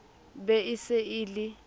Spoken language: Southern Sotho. be e se e le